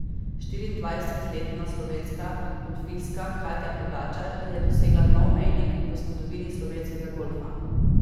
Štiriindvajsetletna slovenska golfistka Katja Pogačar je dosegla nov mejnik v zgodovini slovenskega golfa.